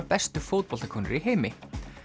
bestu fótboltakonur í heimi